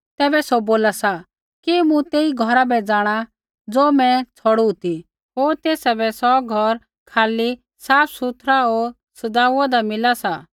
तैबै सौ बोला सा कि मूँ तेही घौरा बै जाँणा ज़ो मैं छ़ौड़ू ती होर तेसा बै सौ घौर खाली साफसुथरा होर सज़ाऊदा मिला सा